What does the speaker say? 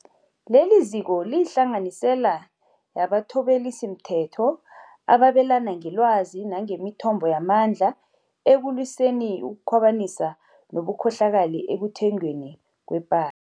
Leliziko liyihlanganisela yabathobelisimthetho ababelana ngelwazi nangemithombo yamandla ekulwiseni ukukhwabanisa nobukhohlakali ekuthengweni kwepa